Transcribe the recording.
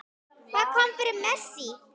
Hvað kom fyrir Messi?